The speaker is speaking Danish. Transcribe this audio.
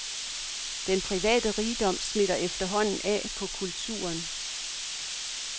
Den private rigdom smitter efterhånden af på kulturen.